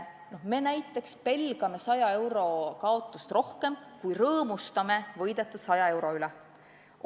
Me näiteks pelgame 100 euro kaotust rohkem, kui rõõmustame võidetud 100 euro üle.